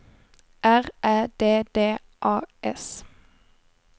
R Ä D D A S